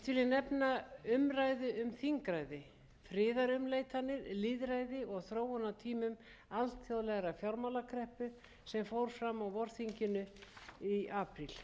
nefna umræðu um þingræði friðarumleitanir lýðræði og þróun á tímum alþjóðlegrar fjármálakreppu sem fór fram á vorþinginu í apríl þar var meðal annars rætt um nauðsyn þess að koma